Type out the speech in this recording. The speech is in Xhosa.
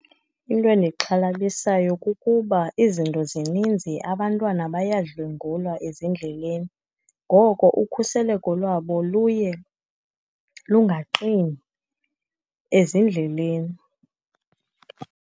Into endixhalabisayo kukuba izinto zininzi, abantwana bayadlwengulwa ezindleleni. Ngoko ukhuseleko lwabo luye lungaqini ezindleleni.